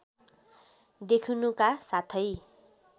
देखिनुका साथै